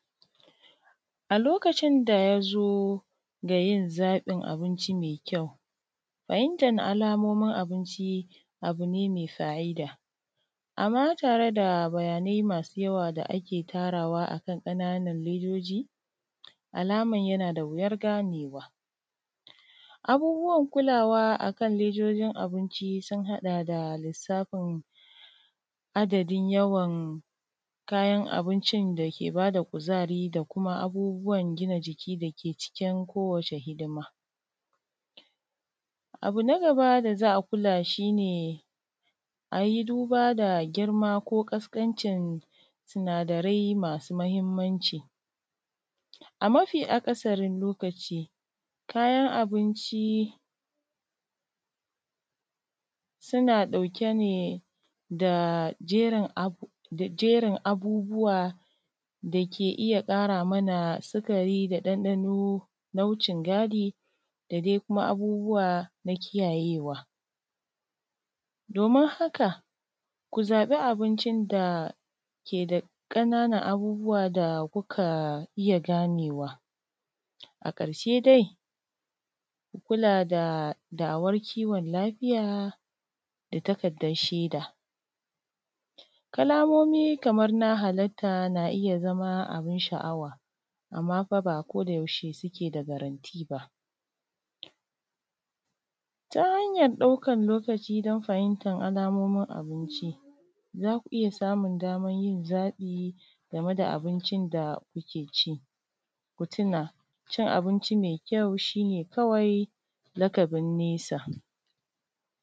A lokacin da ya zo ga yin zaƃin abinci mai kyau fahimtar alamomin abinci abu ne mai fa’ida, amma tare da bayanai masu yawa da ake tarawa a kan ƙananan ledoji, alaman yana da wuyar ganewa Abubuwan kulawa a kan ledojin abinci sun haɗa da lissafin adadin yawan kayan abincin da ke ba da kuzari da kuma abubuwan gina jiki da ke cikin kowace hidima Abu na gaba da za a kula shi ne a yi duba da girma ko ƙasƙancin sinadarai masu mahimmanci a mafi akasarin lokaci kayan abinci suna ɗauke ne da jerin ab; da jerin abubuwa da ke iya ƙara mana sikari da ɗanɗano na wucin gadi da dai kuma abubuwa na kiyayewa, domin haka ku zaƃi abincin da ke da ƙananan abubuwa da kuka iya ganewa, a ƙarshe dai ku kula da da’awar kiwon lafiya da takaddar shaida. Kalamomi kamar na halarta na iya zama abin sha’awa amma fa ba ko da yaushe suke da garanti ba, ta hanyar ɗaukar lokaci don fahimtan alamomin abinci za ku iya samun damar yin zaƃi game da abincin da kuke ci, ku tuna cin abinci mai kyau shi ne kawai lakabin nesa.